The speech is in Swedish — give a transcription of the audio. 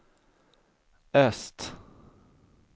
öst